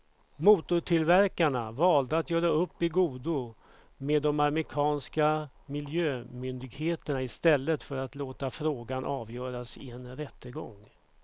Motortillverkarna valde att göra upp i godo med de amerikanska miljömyndigheterna i stället för att låta frågan avgöras i en rättegång.